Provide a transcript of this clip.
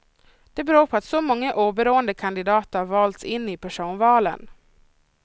Det beror på att så många oberoende kandidater valts in i personvalen.